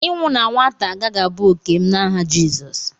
ịnwụ na nwata agaghị abụ òkè m n'aha Jizọs